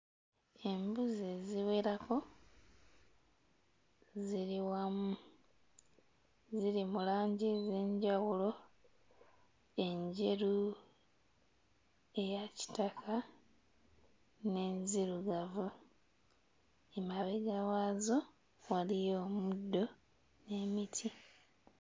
Embuzi eziwerako ziri wamu ziri mu langi ez'enjawulo enjeru, eya kitaka n'enzirugavu emabega waazo waliyo omuddo n'emiti.